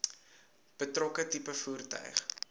betrokke tipe voertuig